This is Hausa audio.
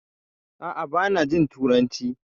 A'a bana jin turanci